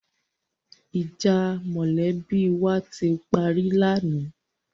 Ìjà mọ̀lẹ́bí wa ti parí lánàá.